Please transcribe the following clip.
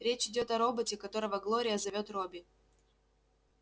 речь идёт о роботе которого глория зовёт робби